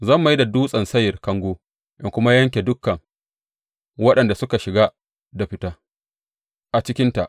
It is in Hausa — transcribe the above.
Zan mai da Dutsen Seyir kango in kuma yanke dukan waɗanda suke shiga da fita a cikinka.